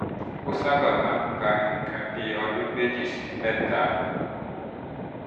ó sábà máa ń gba nǹkan bí ọdún méjì sí mẹ́ta